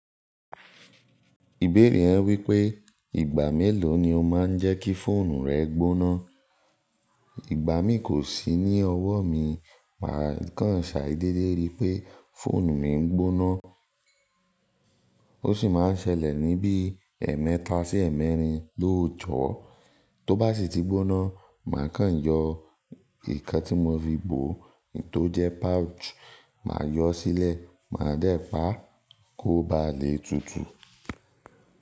Ìbéèrè rẹ wípé ìgbà mélòó ni o máa ń jẹ́ kí fóònù rẹ gbóná? Mi kò sí ní ọwọ́ mi, màá kàn ṣàìdédé rí pé fóònù mi ń gbóná. Ó sì máa ń ṣẹlẹ̀ níbí ẹ̀ẹ̀mẹta sí ẹ̀ẹ̀mẹrin lóòjọ́. Tó bá sì ti gbóná, màá kàn yọ nǹkan tí mo fi bò ó, èyí tó jẹ́ pouch, màá yọ ó sílẹ̀, màá dẹ́ pà á kó ba lè tutù.